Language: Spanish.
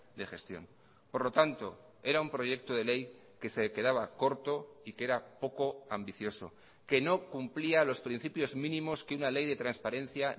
de gestión por lo tanto era un proyecto de ley que se quedaba corto y que era poco ambicioso que no cumplía los principios mínimos que una ley de transparencia